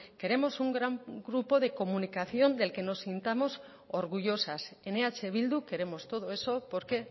queremos un gran grupo de comunicación del que nos sintamos orgullosas en eh bildu queremos todo eso porque